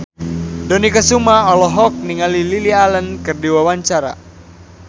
Dony Kesuma olohok ningali Lily Allen keur diwawancara